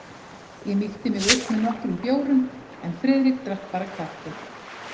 Ég mýkti mig upp með nokkrum bjórum en Friðrik drakk bara kaffi.